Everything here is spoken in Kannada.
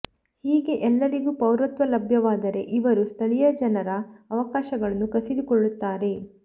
ಹೀಗೆ ಎಲ್ಲರಿಗೂ ಪೌರತ್ವ ಲಭ್ಯವಾದರೆ ಇವರು ಸ್ಥಳೀಯ ಜನರ ಅವಕಾಶಗಳನ್ನು ಕಸಿದುಕೊಳ್ಳುತ್ತಾರೆ